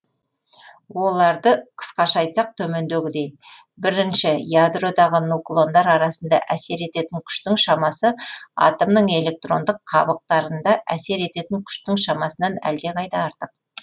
оларды қысқаша айтсақ төмендегідей бірінші ядродағы нуклондар арасында әсер ететін күштің шамасы атомның электрондық қабықтарында әсер ететін күштің шамасынан әлдеқайда артық